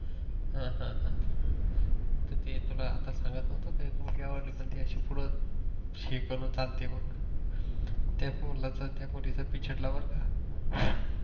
अह अह अह तर ते तुला सांगत नव्हतो का एक मुलगी आवडली पन ती अशी पूड शेकाने चालते मग